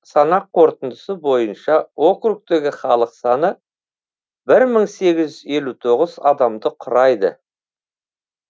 санақ қорытындысы бойынша округтегі халық саны бір мың сегіз жүз елу тоғыз адамды құрайды